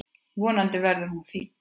Vonandi verður hún þýdd.